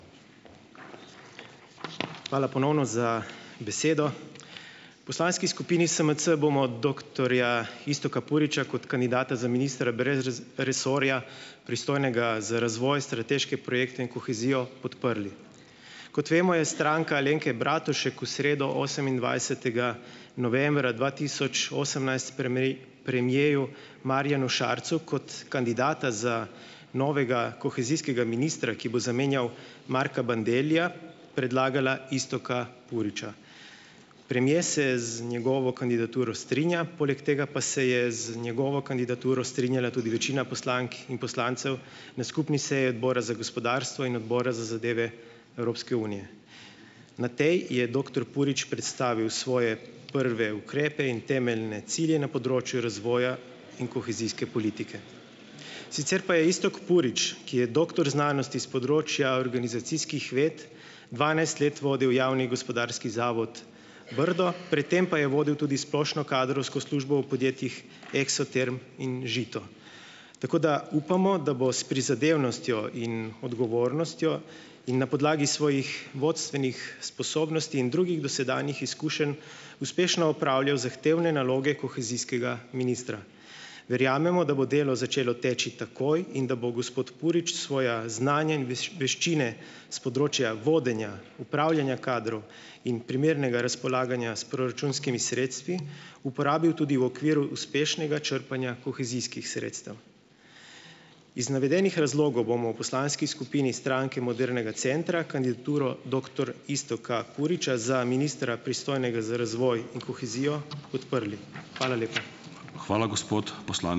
Hvala ponovno za besedo. V poslanski skupini SMC bomo doktorja Iztoka Puriča kot kandidata za ministra brez resorja, pristojnega za razvoj, strateške projekte in kohezijo, podprli. Kot vemo, je Stranka Alenke Bratušek v sredo, osemindvajsetega novembra dva tisoč osemnajst, premierju Marjanu Šarcu kot kandidata za novega kohezijska ministra, ki bo zamenjal Marka Bandellija, predlagala Iztoka Puriča. Premier se z njegovo kandidaturo strinja, poleg tega pa se je z njegovo kandidaturo strinjala tudi večina poslank in poslancev na skupni seji Odbora za gospodarstvo in Odbora za zadeve Evropske unije. Na tej je doktor Purič predstavil svoje prve ukrepe in temeljne cilje na področju razvoja in kohezijske politike. Sicer pa je Iztok Purič, ki je doktor znanosti s področja organizacijskih ved, dvanajst let vodil javni gospodarski zavod Brdo, pred tem pa je vodil tudi splošno kadrovsko službo v podjetjih Eksoterm in Žito. Tako da upamo, da bo s prizadevnostjo in odgovornostjo in na podlagi svojih vodstvenih sposobnosti in drugih dosedanjih izkušenj uspešno opravljal zahtevne naloge kohezijskega ministra. Verjamemo, da bo delo začelo teči takoj in da bo gospod Purič svoja znanja in veščine s področja vodenja, upravljanja kadrov in primernega razpolaganja s proračunskimi sredstvi uporabil tudi v okviru uspešnega črpanja kohezijskih sredstev. Iz navedenih razlogov bomo v poslanski skupini Stranke modernega centra kandidaturo doktor Iztoka Puriča za ministra, pristojnega za razvoj in kohezijo, podprli. Hvala lepa.